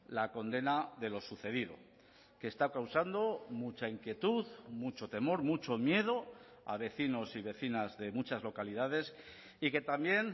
la condena de lo sucedido que está causando mucha inquietud mucho temor mucho miedo a vecinos y vecinas de muchas localidades y que también